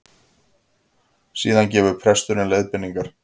Síðan gefur presturinn leiðbeiningar